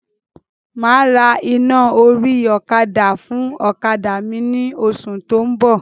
Máa ra iná orí ọ̀kadà fún ọ̀kadà mi ni oṣù tó ń bọ̀.